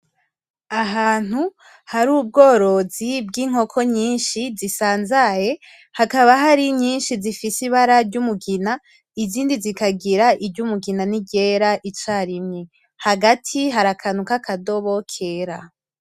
Ahantu hari ubworoyi bw'inkoko nyishi zisanzaye hakaba hari nyishi zifise ibara ry'umugina izindi zikagira iry'umugina n'iryera icarimwe hari akantu kakadobo kera.